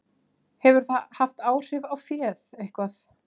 Hefur það haft áhrif á féð, eitthvað?